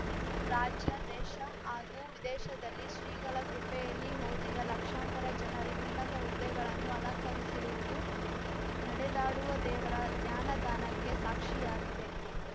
ಇಂದು ರಾಜ್ಯ ದೇಶ ಹಾಗೂ ವಿದೇಶದಲ್ಲಿ ಶ್ರೀಗಳ ಕೃಪೆಯಲ್ಲಿ ಓದಿದ ಲಕ್ಷಾಂತರ ಜನರು ಉನ್ನತ ಹುದ್ದೆಗಳನ್ನು ಅಲಂಕರಿಸಿರುವುದು ನಡೆದಾಡುವ ದೇವರ ಜ್ಞಾನದಾನಕ್ಕೆ ಸಾಕ್ಷಿಯಾಗಿದೆ